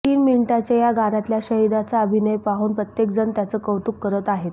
तीन मिनिटांच्या या गाण्यातला शाहिदचा अभिनय पाहून प्रत्येकजण त्याचं कौतुक करत आहेत